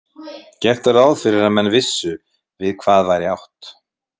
Gert var ráð fyrir að menn vissu við hvað væri átt.